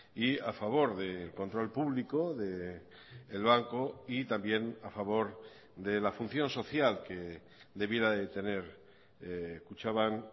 y a favor del control público del banco y también a favor de la función social que debiera de tener kutxabank